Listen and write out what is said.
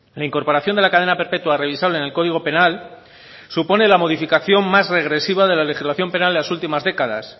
la incorporación de la cadena perpetua revisable en el código penal supone la modificación más regresiva de la legislación penal en las últimas décadas